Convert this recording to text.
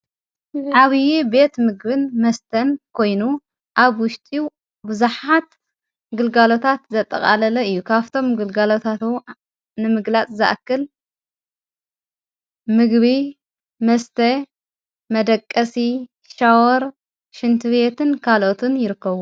ዓዊዪ ቤት ምግብን መስተን ኮይኑ ኣብ ውሽጢ ብዙኃት ግልጋሎታት ዘጠቓለለ እዩ ካብቶም ግልጋሎታት ንምግላጽ ዝኣክል ምግቢ መስተ መደቀሲ ሻወር ሹንቲ ቤትን ካልኦትን ይርከቡ።